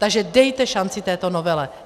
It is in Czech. Takže dejte šanci této novele.